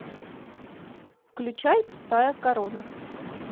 включай пустая корона